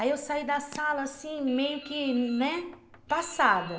Aí eu saí da sala assim, meio que, né, passada.